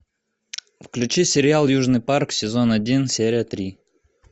включи сериал южный парк сезон один серия три